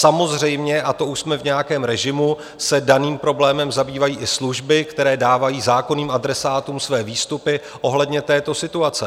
Samozřejmě, a to už jsme v nějakém režimu, se daným problémem zabývají i služby, které dávají zákonným adresátům své výstupy ohledně této situace.